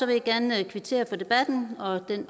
jeg gerne kvittere for debatten og den